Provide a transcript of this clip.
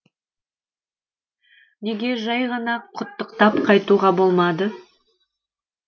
неге жай ғана құттықтап қайтуға болмады